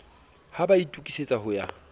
ha ba itokisetsa ho ya